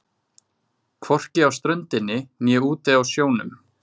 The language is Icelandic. Hvorki á ströndinni né úti á sjónum.